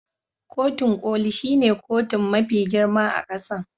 Kotun Koli shine kotun mafi girma a kasan.